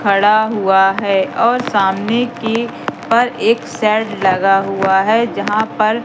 खड़ा हुआ है और सामने की पर एक सेड लगा हुआ है जहां पर--